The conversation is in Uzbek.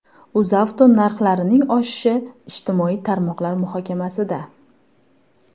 UzAuto narxlarining oshishi ijtimoiy tarmoqlar muhokamasida.